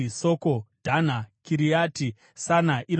Dhana, Kiriati Sana (iro Dhebhiri),